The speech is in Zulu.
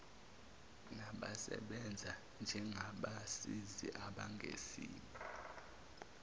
nabasebenza njengabasizi abangesibo